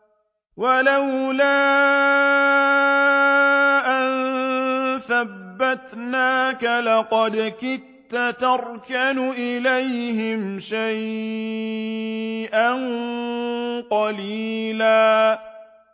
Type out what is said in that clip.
وَلَوْلَا أَن ثَبَّتْنَاكَ لَقَدْ كِدتَّ تَرْكَنُ إِلَيْهِمْ شَيْئًا قَلِيلًا